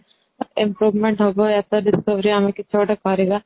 improvement ହେବ ଆମେ କିଛି ଗୋଟେ କରିବା